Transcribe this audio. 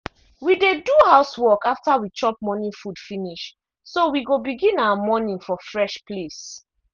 we dey do house work after we chop morning food finish so we go begin our morning for fresh place.